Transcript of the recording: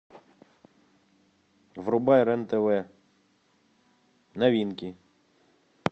врубай рен тв новинки